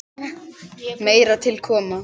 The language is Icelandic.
Meira til koma.